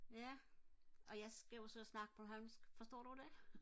ja og jeg skal jo så snakke bornholmsk forstår du det